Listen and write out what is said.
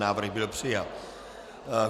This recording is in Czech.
Návrh byl přijat.